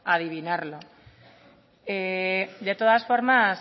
adivinarlo de todas formas